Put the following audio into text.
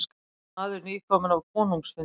Maður nýkominn af konungsfundi.